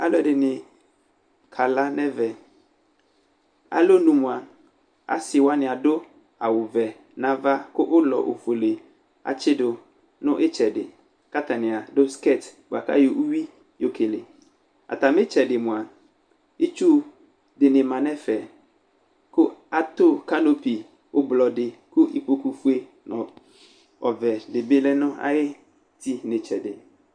Alʋ ɛdɩnɩ kala nʋ ɛvɛ Alɔnʋ mʋa, asɩ wanɩ adʋ awʋvɛ nʋ ava, kʋ ʋlɔ ofue atsɩdʋ nʋ ɩtsɛdɩ, kʋ atanɩ adʋ skɛtsɩ bʋakʋ ayɔ ʋyʋi yo kele Atamɩ ɩtsɛdɩ mʋa, itsu dɩnɩ ma nʋ ɛfɛ, kʋ atʋ kalote ʋblɔ dɩ, kʋ ikpokʋfue nʋ ɔvɛ dɩni bɩ lɛ nʋ ayu uti nʋ ɩtsɛdɩ